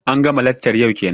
an ga ma laccar yau kenan?